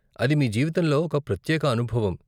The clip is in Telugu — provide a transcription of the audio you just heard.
అది మీ జీవితంలో ఒక ప్రత్యేక అనుభవం.